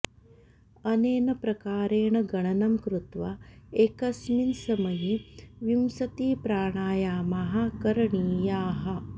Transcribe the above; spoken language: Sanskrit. अनेन प्रकारेण गणनं कृत्वा एकस्मिन् समये विंसतिप्राणायामाः करणीयाः